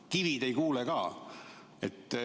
Kivid ei kuule ka.